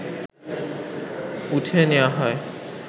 উঠিয়ে নেওয়া হয়